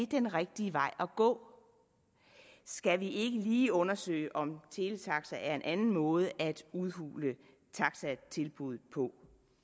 den rigtige vej at gå skal vi ikke lige undersøge om teletaxaer er en anden måde at udhule taxatilbuddet på